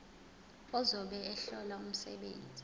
ozobe ehlola umsebenzi